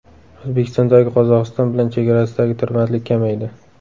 O‘zbekistonning Qozog‘iston bilan chegarasidagi tirbandlik kamaydi.